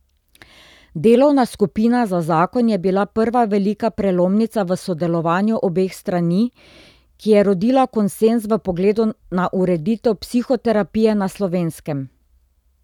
Delovna skupina za zakon je bila prva velika prelomnica v sodelovanju obeh strani, ki je rodila konsenz v pogledu na ureditev psihoterapije na Slovenskem.